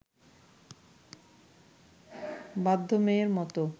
বাধ্য মেয়ের মত